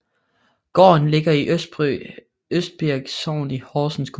Gården ligger i Østbirk Sogn i Horsens Kommune